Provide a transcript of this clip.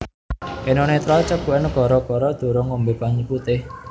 Eno Netral ceguken gara gara durung ngombe banyu putih